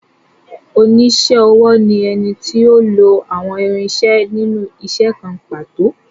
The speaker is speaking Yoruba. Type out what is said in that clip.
Oníṣẹ́-ọwọ́ ni ẹni tí ó lo àwọn irinṣẹ́ nínú isẹ́ kan pàtó.